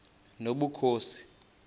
nobukhosi